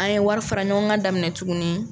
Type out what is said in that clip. An ye wari fara ɲɔgɔn kan daminɛ tuguni